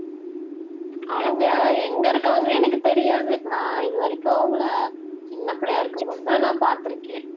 அவங்க எங்க இருக்காங்கன்னே எனக்கு தெரியாது. நான் இது வரைக்கும் அவங்களை சின்ன பிள்ளையா இருக்கும்போதுதான் நான் பார்த்திருக்கேன்